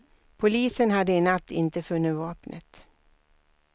Polisen hade i natt inte funnit vapnet.